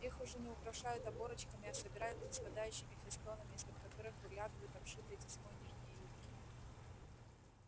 их уже не украшают оборочками а собирают ниспадающими фестонами из-под которых выглядывают обшитые тесьмой нижние юбки